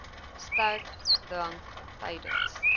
sterk drank tydens